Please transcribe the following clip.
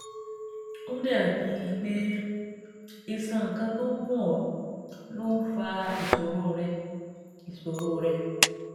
Ó dàbíi pé iṣan kan tó ń gún ọ ló ń fa ìṣòro rẹ ìṣòro rẹ